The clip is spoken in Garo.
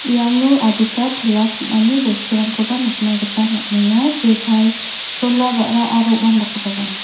iano adita pala sim·ani bosturangkoba nikna gita man·enga jekai chola ba·ra aro uandakgiparang.